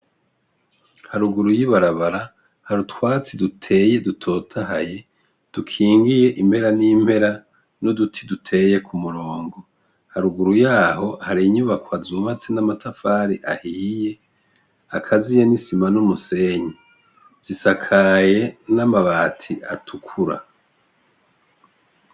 Haruguru y'ibarabara harutwatsi duteye dutotahaye dukingiye impera n'impera n'uduti duteye ku murongo haruguru yaho hari inyubako azumatse n'amatafari ahiye akaziye n'isima n'umusenyi zisakaye n'amabati atiu ukura.